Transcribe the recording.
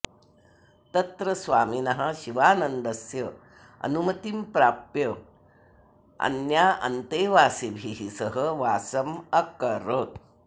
तत्र स्वामिनः शिवानन्दस्य अनुमतिं प्राप्य अन्यान्तेवासिभिः सह वासम् अकरोत्